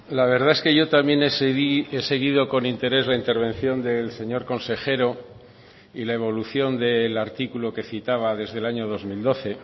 la verdad es que yo también he seguido con interés la intervención del señor consejero y la evolución del artículo que citaba desde el año dos mil doce